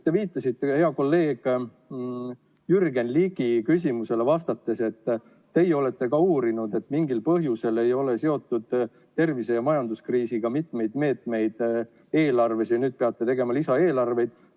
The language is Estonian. Te viitasite hea kolleegi Jürgen Ligi küsimusele vastates, et teie olete ka uurinud, et mingil põhjusel ei ole tervise- ja majanduskriisiga seotud mitmeid meetmeid eelarves ja nüüd peate tegema lisaeelarveid.